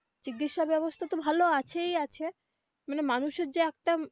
চিকিৎসা ব্যবস্থা তো ভালো আছেই আছে মানে মানুষ এর যে এক time.